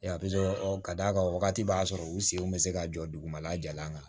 ka d'a kan wagati b'a sɔrɔ u sen bɛ se ka jɔ dugumala jalan kan